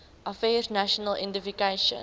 affairs national identification